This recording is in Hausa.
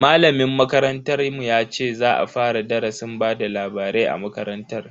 Malamin makarantar mu ya ce za a fara darasin bada labarai a makarantar.